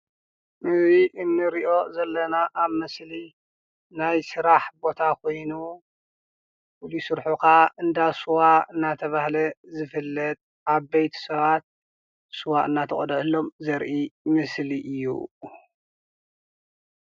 እዚ ንርኦ ዘለና ኣብ ምስሊ ናይ ስራሕ ቦታ ኮይኑ ፍሉይ ስርሑ ካዓ እንዳስዋ እንዳተባሃለ ዝፍለጥ ዓበይቲ ሰባት ስዋ እንዳተቐደሓሎም ዘርኢ ምስሊ እዩ።